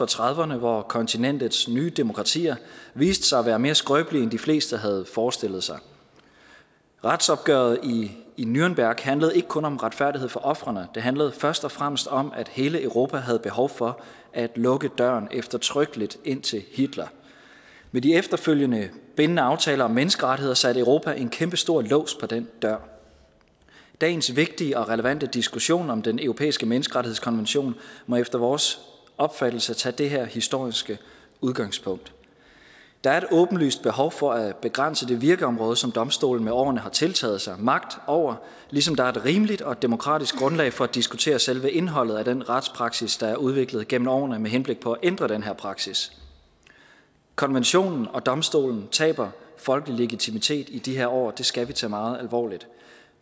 trediverne hvor kontinentets nye demokratier viste sig at være mere skrøbelige end de fleste havde forestillet sig retsopgøret i nürnberg handlede ikke kun om retfærdighed for ofrene det handlede først og fremmest om at hele europa havde behov for at lukke døren eftertrykkeligt ind til hitler med de efterfølgende bindende aftaler om menneskerettigheder satte europa en kæmpestor lås på den dør dagens vigtige og relevante diskussion om den europæiske menneskerettighedskonvention må efter vores opfattelse tage det her historiske udgangspunkt der er et åbenlyst behov for at begrænse det virkeområde som domstolen med årene har tiltaget sig magt over ligesom der er et rimeligt og et demokratisk grundlag for at diskutere selve indholdet af den retspraksis der er udviklet gennem årene med henblik på at ændre den her praksis konventionen og domstolen taber folkelig legitimitet i de her år og det skal vi tage meget alvorligt